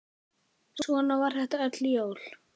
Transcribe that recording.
Svona var þetta öll jól.